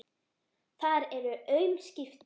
Það eru aum skipti.